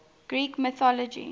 greek mythology